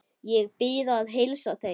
Ég bið að heilsa þeim.